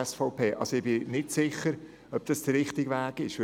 Ich bin nicht sicher, dass das der richtige Weg ist.